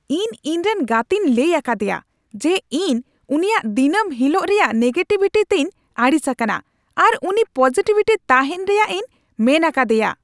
ᱤᱧ ᱤᱧᱨᱮᱱ ᱜᱟᱛᱮᱧ ᱞᱟᱹᱭ ᱟᱠᱟᱫᱮᱭᱟ ᱡᱮ ᱤᱧ ᱩᱱᱤᱭᱟᱜ ᱫᱤᱱᱟᱹᱢ ᱦᱤᱞᱳᱜ ᱨᱮᱭᱟᱜ ᱱᱮᱜᱮᱴᱤᱵᱷᱤᱴᱤ ᱛᱮᱧ ᱟᱹᱲᱤᱥ ᱟᱠᱟᱱᱟ ᱟᱨ ᱩᱱᱤ ᱯᱚᱡᱤᱴᱤᱵᱷ ᱛᱟᱦᱮᱱ ᱨᱮᱭᱟᱜ ᱤᱧ ᱢᱮᱱ ᱟᱠᱟᱫᱮᱭᱟ ᱾